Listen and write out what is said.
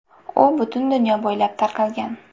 U butun dunyo bo‘ylab tarqalgan.